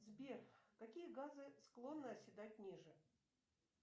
сбер какие газы склонны оседать ниже